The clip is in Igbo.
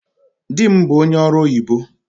Dị m bụ ónyé ọrụ oyibo